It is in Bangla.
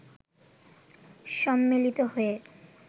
সম্মিলিত হয়ে